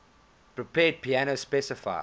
prepared piano specify